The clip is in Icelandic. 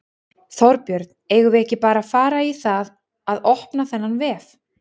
Þorbjörn: Eigum við ekki bara að fara í það að opna þennan vef?